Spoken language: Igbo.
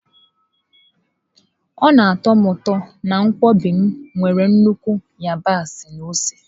Ọ na atọ m ụtọ na nkwobi m nwere nnukwu yabasị na ose.